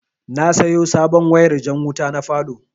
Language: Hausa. Na sayo sabon wayar jan wuta na falow